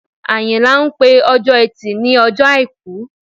Àyìnlá ń pè Ọjọ́ Ẹtì ní Ọjọ́ Àìkú